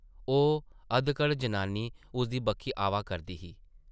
ओह् अधकड़ जनानी उसदी बक्खी आवा करदी ही ।